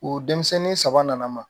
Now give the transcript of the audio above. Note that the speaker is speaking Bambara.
O denmisɛnnin saba nana ma